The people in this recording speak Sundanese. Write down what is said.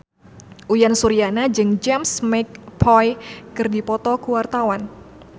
Uyan Suryana jeung James McAvoy keur dipoto ku wartawan